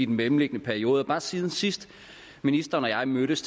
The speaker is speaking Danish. mellemliggende periode bare siden sidst ministeren og jeg mødtes